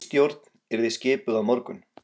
Ný stjórn yrði skipuð á morgun